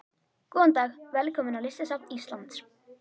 Góðan dag. Velkomin á Listasafn Íslands.